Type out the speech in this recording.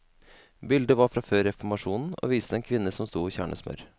Bildet var fra før reformasjonen, og viste en kvinne som stod og kjernet smør.